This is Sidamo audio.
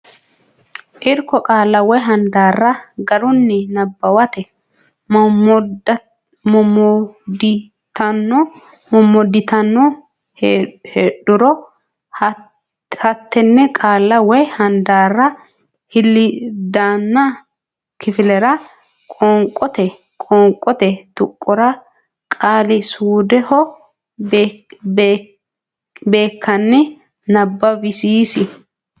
Irko Qaalla woy handaarra garunni nabbawate mommodditanno heedhuro hattenne qaalla woy handaarra hiliddaanna kifillara qoonqote qoonqote tuqqora qaali suudeho beekkanni nabbawisiisi.